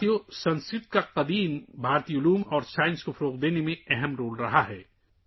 دوستو، قدیم ہندوستانی علم و سائنس کی ترقی میں سنسکرت نے بڑا کردار ادا کیا ہے